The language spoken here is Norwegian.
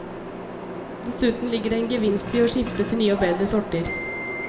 Dessuten ligger det en gevinst i å skifte til nye og bedre sorter.